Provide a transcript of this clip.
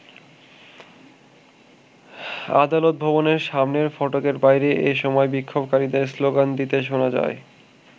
আদালত ভবনের সামনের ফটকের বাইরে এ সময় বিক্ষোভকারীদের স্লোগান দিতে শোনা যায়।